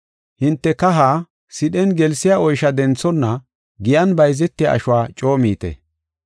Hinte kaha sidhen gelsiya oysha denthonna giyan bayzetiya ashuwa coo miite.